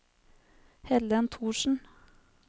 Helen Thorsen